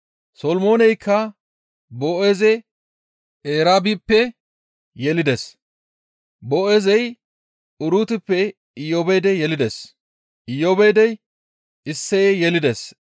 Solomooneykka Boo7eeze Eraabippe yelides; Boo7eezey Urutippe Iyoobeede yelides; Iyoobeedey Isseye yelides;